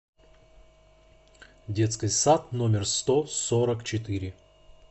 детский сад номер сто сорок четыре